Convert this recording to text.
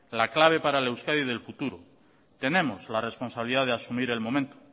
la clave para el euskadi del futuro tenemos la responsabilidad de asumir el momento